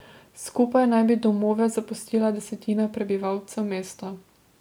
Skupaj naj bi domove zapustila desetina prebivalcev mesta.